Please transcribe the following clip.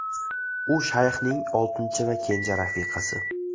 U shayxning oltinchi va kenja rafiqasi.